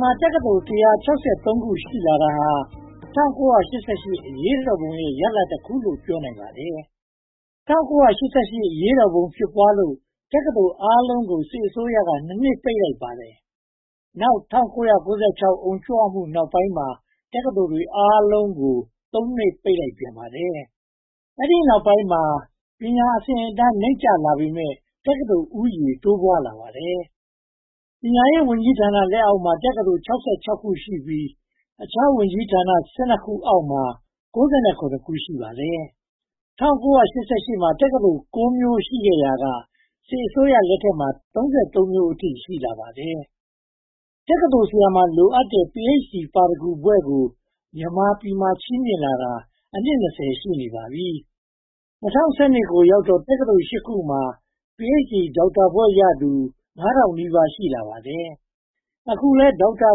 မှာ တက္ကသိုလ် (၁၆၃) ခု ရှိလာတာဟာ ၁၉၈၈ အရေးတော်ပုံရဲ့ ရလဒ်တခုလို့ ပြောနိုင်ပါတယ်။ ၁၉၈၈ အရေးပေါ်တော်ပုံ ဖြစ်ပွားလို့ တက္ကသိုလ်အားလုံးကို စစ်အစိုးရက (၂) နှစ် ပိတ်ပစ်လိုက်ပါတယ်။ နောက် ၁၉၉၆ အုံကြွမှုနောက်ပိုင်းမှာ တက္ကသိုလ်တွေအားလုံး (၃) နှစ် ပိတ်လိုက်ပြန်ပါတယ်။ အဲဒီနောက်ပိုင်းမှာ ပညာအဆင့်အတန်း နိမ့်ကျလာပေမယ့် တက္ကသိုလ်ဦးရေ တိုးပွားလာပါတယ်။ ပညာရေးဝန်ကြီးဌာန လက်အောက်မှာ တက္ကသိုလ် (၆၆) ခု ရှိပြီး အခြားဝန်ကြီးဌာန (၁၂) ခုအောက်မှာ (၉၆) ခု ရှိပါတယ်။ ၁၉၈၈ မှာ တက္ကသိုလ် (၉) မျိုး ရှိခဲ့ရာက စစ်အစိုးရလက်ထက်မှာ (၃၃) မျိုးအထိ ရှိလာပါတယ်။ တက္ကသိုလ်ဆရာတွေမှာ လိုအပ်တဲ့ Ph.D ပါရဂူဘွဲ့ကို မြန်မာပြည်မှာ ချီးမြှင့်လာတာ အနှစ် (၂၀) ရှိနေပါတယ်။ ၂၀၁၂ ကိုရောက်တော့ တက္ကသိုလ် (၈) ခုမှာ Ph.D ဒေါက်တာဘွဲ့ရသူ (၄၈၉၂) ဦး ရှိလာပါတယ်။ အခုလည်း ဒေါက်တာ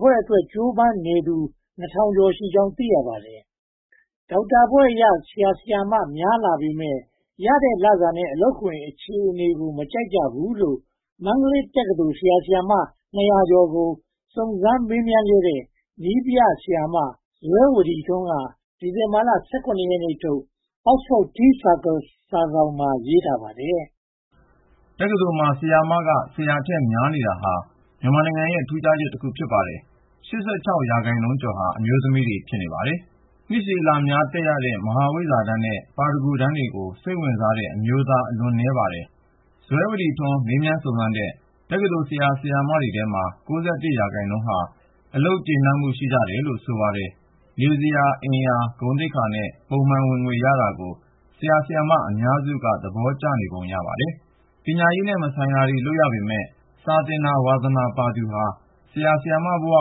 ဘွဲ့အတွက် ကြိုးပမ်းနေသူ (၂၀၅၃) ဦး ရှိကြောင်း သိရပါတယ်။ ဒေါက်တာဘွဲ့ရ ဆရာ၊ ဆရာမများလာပေမယ့် ရတဲ့လစာနဲ့ အလုပ်ခွင်အခြေအနေကို မကြိုက်ကြဘူးလို့ မန္တလေးက တက္ကသိုလ် ဆရာ၊ ဆရာမ (၂၂၀) ကို စုံစမ်းမေးမြန်းခဲ့တဲ့ နည်းပြဆရာမ “ဇွဲဝဒီထွန်း” က ဒီဇင်ဘာလ (၁၇) ရက်ထုတ် Oxford Teacircle စာစောင်မှာ ရေးထားပါတယ်။ တက္ကသိုလ်မှာ ဆရာမက ဆရာထက်များနေတာဟာ မြန်မာရဲ့ ထူးခြားချက်တခု ဖြစ်ပါတယ်။ (၈၆) ရာခိုင်နှုန်းကျော်ဟာ အမျိုးသမီးတွေ ဖြစ်နေပါတယ်။ နှစ်ရှည်လများ တက်ရတဲ့ မဟာဝိဇ္ဇာတန်းနဲ့ ပါရဂူတန်းတွေကို စိတ်ဝင်စားတဲ့ အမျိုးသား အလွန်နည်းပါတယ်။ ဇွဲဝဒီထွန်း မေးမြန်းစုံစမ်းတဲ့ တက္ကသိုလ် ဆရာ၊ ဆရာမတွေထဲမှာ (၉၁) ရာခိုင်နှုန်းဟာ အလုပ်ကျေနပ်မှု ရှိကြတယ်လို့ ဆိုပါတယ်။ နေစရာ၊ အိမ်ယာ၊ ဂုဏ်သိက္ခာနဲ့ ပုံမှန်ဝင်ငွေ ရနေတာကို ဆရာ၊ ဆရာမ အများစုက သဘောကျနေပုံ ရပါတယ်။ ပညာရေးနဲ့ မဆိုင်တာတွေ လုပ်ရပေမယ့် စာသင်တာ ဝါသနာပါသူဟာ ဆရာ၊ ဆရာမဘဝ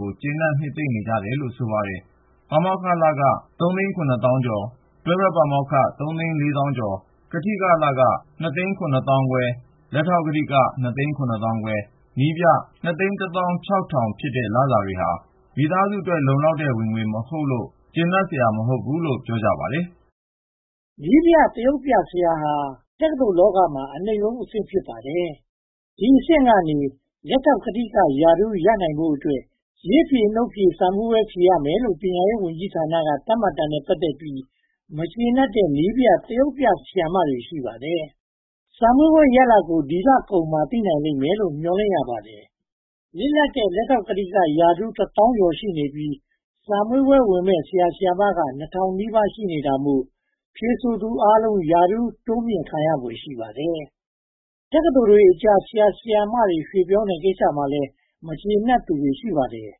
ကို ကျေနပ်နှစ်သိမ့်နေကြတယ်လို့ ဆိုပါတယ်။ ပါမောက္ခလခ (ကျပ် ၃၇၄,၀၀၀)၊ တွဲဘက်ပါမောက္ခ (ကျပ် ၃၄၁,၀၀၀)၊ ကထိက (ကျပ် ၂၇၅,၀၀၀)၊ လက်ထောက်ကထိက (ကျပ် ၂၇၅,၀၀၀)၊ နည်းပြ (ကျပ် ၂၁၆,၀၀၀) ဖြစ်တဲ့လစာတွေဟာ မိသားစုအတွက် လုံလောက်တဲ့ဝင်ငွေ မဟုတ်လို့ မကျေနပ်တာ ဖြစ်ပါတယ်။ နည်းပြနဲ့ သရုပ်ပြဆရာဟာ တက္ကသိုလ်လောကမှာ အနိမ့်ဆုံးအဆင့် ဖြစ်ပါတယ်။ ဒီအဆင့်ကနေ လက်ထောက်ကထိကရာထူး ရနိုင်ဖို့အတွက် ရေးဖြေ၊ နှုတ်ဖြေစာမေးပွဲ ဖြေရမယ်လို့ ပညာရေးဝန်ကြီးဌာနက သတ်မှတ်တာနဲ့ ပတ်သက်ပြီး မကျေနပ်တဲ့ နည်းပြသရုပ်ပြ ဆရာ၊ ဆရာမတွေ ရှိပါတယ်။ စာမေးပွဲရလဒ်ကို ဒီလကုန်မှာ သိနိုင်လိမ့်မယ်လို့ မျှော်လင့်ရပါတယ်။ လစ်လပ်တဲ့ လက်ထောက်ကထိကရာထူးက တစ်သောင်းကျော်ရှိနေပြီး စာမေးပွဲဝင်မယ့် ဆရာ၊ ဆရာမက နှစ်ထောင်နီးပါးသာ ရှိတာမို့ ဖြေဆိုသူအားလုံး ရာထူးတိုးမြှင့်ခံရဖွယ် ရှိပါတယ်။ တက္ကသိုလ်တွေအကြား ဆရာ၊ ဆရာမတွေ ရွှေ့ပြောင်းတဲ့ကိစ္စမှာလည်း မကျေနပ်သူတွေ ရှိပါတယ်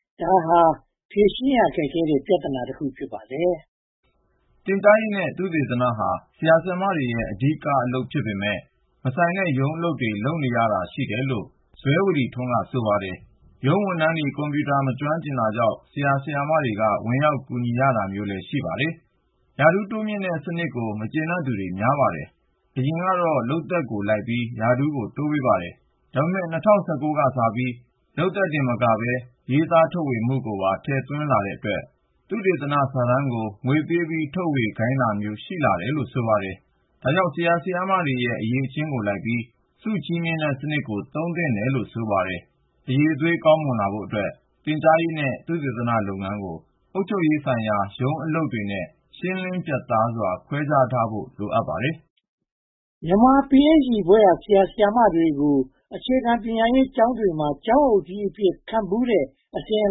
။ ဒါဟာ ဖြေရှင်းရခက်တဲ့ ပြဿနာတခု ဖြစ်ပါတယ်။ သင်ကြားရေးနဲ့ သုတေသနဟာ ဆရာ၊ ဆရာမတွေရဲ့ အဓိကအလုပ်ဖြစ်ပေမယ့် မဆိုင်တဲ့ရုံးအလုပ်တွေ လုပ်တာရှိတယ်လို့ ‘ဇွဲဝဒီထွန်း’ က ဆိုပါတယ်။ ရုံးဝန်ထမ်းတွေ ကွန်ပြူတာ မကျွမ်းကျင်တာကြောင့် ဆရာ၊ ဆရာမတွေ ဝင်ကူရတာမျိုး ရှိပါတယ်။ ရာထူးတိုးမြှင့်တဲ့စနစ်ကို မကျေနပ်သူတွေ များပါတယ်။ အရင်ကတော့ လုပ်သက်ကိုလိုက်ပြီး ရာထူးတိုးပေးပါတယ်။ ဒါပေမဲ့ ၂၀၁၉ ကစပြီး လုပ်သက်တင်မကပဲ ရေးသားထုတ်ဝေမှုကိုပါ ထည့်တွက်တဲ့အတွက် သုတေသနစာတမ်းကို ငွေပေးပြီး ထုတ်ဝေခိုင်းတာမျိုး ရှိလာတယ်လို့ ဆိုပါတယ်။ အရည်အသွေး ကောင်းမွန်လာဖို့အတွက် သင်ကြားရေးနဲ့ သုတေသနလုပ်ငန်းကို အုပ်ချုပ်ရေးဆိုင်ရာ ရုံးအလုပ်တွေနဲ့ ရှင်းလင်းပြတ်သားစွာ ခွဲခြားထားဖို့ လိုပါတယ်။ မြန်မာ Ph.D ဘွဲ့ရ ဆရာ၊ ဆရာမတွေကို အခြေခံပညာရေးကျောင်းတွေမှာ ကျောင်းအုပ်ကြီးအဖြစ် ခန့်ဖူးတဲ့ အစဉ်အ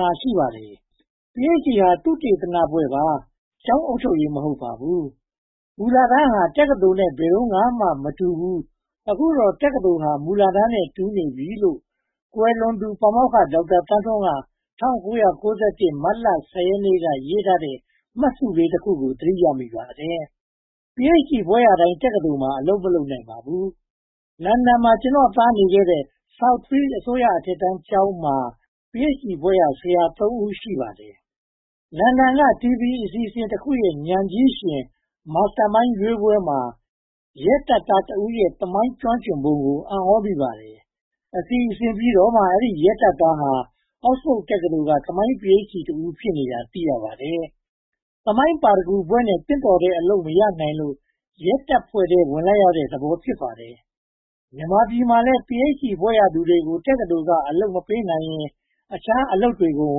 လာလည်း ရှိပါတယ်။ Ph.D ဟာ သုတေသနဘွဲ့ပါ ကျောင်းအုပ်ချုပ်ရေး မဟုတ်ပါဘူး။ ‘မူလတန်းဟာ တက္ကသိုလ်နဲ့ ဘယ်တုန်းကမှ မတူပါဘူး။ အခုတော့ တက္ကသိုလ်ဟာ မူလတန်းနဲ့ တူနေပါပြီ’ လို့ ကွယ်လွန်သူ ပါမောက္ခ ဒေါက်တာသန်းထွန်းက ၁၉၉၁ မတ်လ (၁၀) ရက်နေ့က ရေးထားတဲ့ မှတ်စုလေးတခုကို သတိရမိပါတယ်။ Ph.D ဘွဲ့ရတိုင်း တက္ကသိုလ်မှာ အလုပ်မရနိုင်ပါဘူး။ လန်ဒန်မှာ ကျနော့်သားနေခဲ့တဲ့ Southfields အစိုးရအထက်တန်းကျောင်းမှာ Ph.D ဘွဲ့ရ ဆရာ (၃) ဦး ရှိပါတယ်။ အင်္ဂလန်က TV အစီအစဉ်တခုရဲ့ ဉာဏ်ကြီးရှင် Master Mind ရွေးပွဲမှာ ရဲတပ်ဖွဲ့ဝင်တဦးရဲ့ သမိုင်းကျွမ်းကျင်ပုံကို အံ့သြမိပါတယ်။ အစီအစဉ်ပြီးတော့မှ ဒီရဲသားက Oxford တက္ကသိုလ်က သမိုင်း Ph.D ဘွဲ့ရ တဦး ဖြစ်နေတာ သိရပါတယ်။ သမိုင်းပါရဂူဘွဲ့ရနဲ့ သင့်တော်တဲ့ အလုပ်မရနိုင်လို့ ရဲတပ်ဖွဲ့ထဲ ဝင်လိုက်ရတဲ့သဘော ဖြစ်ပါတယ်။ မြန်မာပြည်မှာလည်း Ph.D ဘွဲ့ရသူကို တက္ကသိုလ်က အလုပ်မပေးနိုင်ရင် အခြားအလုပ်တွေကို ဝ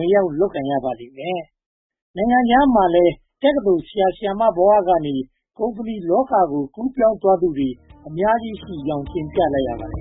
င်ရောက်လုပ်ကိုင်ရပါလိမ့်မယ်။ နိုင်ငံခြားမှာလည်း တက္ကသိုလ် ဆရာ၊ ဆရာမဘဝကနေ ကုမ္ပဏီလောကကို ကူးပြောင်းသွားသူ အများကြီးရှိကြောင်း တင်ပြလိုက်ရပါတယ